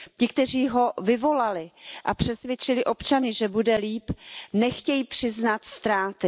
Ti, kteří ho vyvolali a přesvědčili občany, že bude lépe, nechtějí přiznat ztráty.